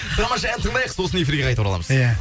тамаша ән тыңдайық сосын эфирге қайта ораламыз иә